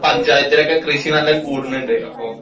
പഞ്ചായത്തിലൊക്കെ കൃഷി നല്ലോം കൂടണുണ്ട് അപ്പൊ